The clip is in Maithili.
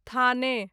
थाने